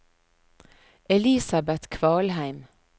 Elisabet Kvalheim